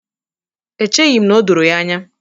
Echeghi m na o doro ya anya.